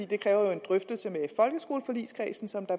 det kræver jo en drøftelse